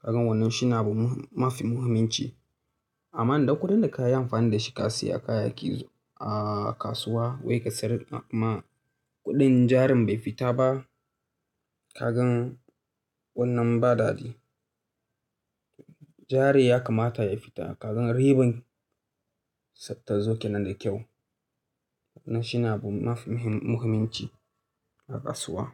Kagan wannan shi ne abu mafi muhimmanci. Amma idan kuɗin da ka yi amfani da shi ka siya kayayyaki a kasuwa wai ka sayar kuma kuɗin jarin bai fita ba, kagan wannan ba dadi. Jari ya kamata ya fita, kagan riban ta zo ke nan da kyau. Wannan shi ne abu mafi muhimmanci a kasuwa.